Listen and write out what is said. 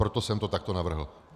Proto jsem to takto navrhl.